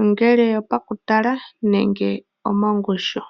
ongele opo ku tala nenge omomgushu.